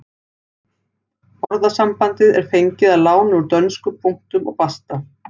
Orðasambandið er fengið að láni úr dönsku punktum og basta.